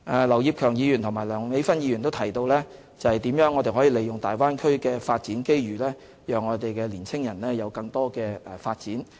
劉業強議員和梁美芬議員提到如何利用大灣區的發展機遇讓我們的青年人有更多發展。